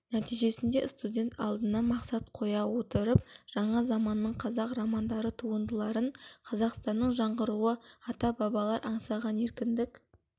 нәтижесінде студент алдына мақсат қоя отырып жаңа заманның қазақ романдары туындыларын қазақстанның жаңғыруы ата-бабалар аңсаған еркіндік